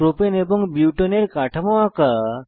propane এবং বিউটেনের কাঠামো আঁকা